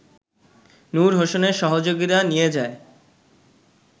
নূর হোসেনের সহযোগীরা নিয়ে যায়